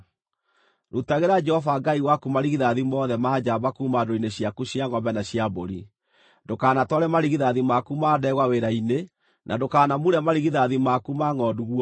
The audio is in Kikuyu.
Rutagĩra Jehova Ngai waku marigithathi mothe ma njamba kuuma ndũũru-inĩ ciaku cia ngʼombe na cia mbũri. Ndũkanatware marigithathi maku ma ndegwa wĩra-inĩ, na ndũkanamure marigithathi maku ma ngʼondu guoya.